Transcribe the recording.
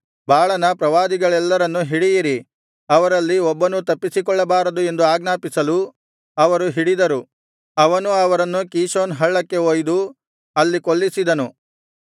ಆಗ ಎಲೀಯನು ಅವರಿಗೆ ಬಾಳನ ಪ್ರವಾದಿಗಳೆಲ್ಲರನ್ನು ಹಿಡಿಯಿರಿ ಅವರಲ್ಲಿ ಒಬ್ಬನೂ ತಪ್ಪಿಸಿಕೊಳ್ಳಬಾರದು ಎಂದು ಆಜ್ಞಾಪಿಸಲು ಅವರು ಹಿಡಿದರು ಅವನು ಅವರನ್ನು ಕೀಷೋನ್ ಹಳ್ಳಕ್ಕೆ ಒಯ್ದು ಅಲ್ಲಿ ಕೊಲ್ಲಿಸಿದನು